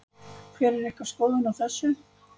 Hver er ykkar skoðun á þessu?